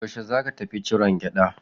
Yaushe za ka tafi ciron gyaɗa?